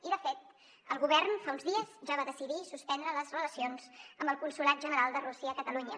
i de fet el govern fa uns dies ja va decidir suspendre les relacions amb el consolat general de rússia a catalunya